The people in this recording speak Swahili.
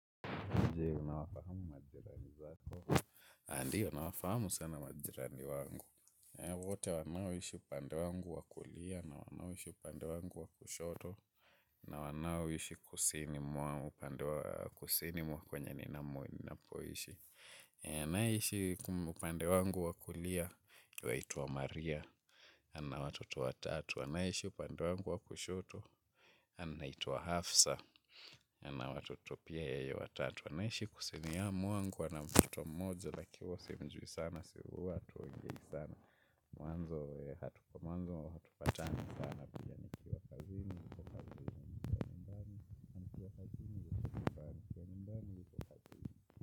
Ndiyo, na wafahamu majirani zato. Na ndiyo, nawafahamu sana majirani wangu. Wote wanaoishi upande wangu wa kulia, na wanaoishi upande wangu wa kushoto, na wanao ishi kusini mwa upande wa kusini mwa kwenye ninamo ninapoishi. Anayeishi upande wangu wakulia, yuaituwa Maria. Ana watoto watatu, anayeishi upande wangu wa kushoto. Anaitwa Hafsa. Ana watoto pia yeye watatu. Tunaishi kusini ya mwangu ana mtoto mmoja lakini huwa simjui sana si huwa hatuongei sana. Mwanzo hatupatani sana.